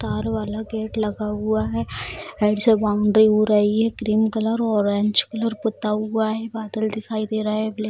तार वाला गेट लगा हुआ है | साइड से बाउंड्री हो रही है | क्रीम कलर और ऑरेंज कलर पुता हुआ है | बादल दिखाई दे रहे है ब्लैक ।